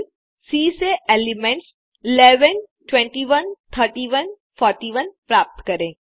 फिर सी से एलिमेंट्स 11 21 31 41 प्राप्त करें